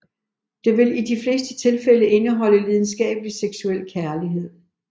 Det vil i de fleste tilfælde indeholde lidenskabelig seksuel kærlighed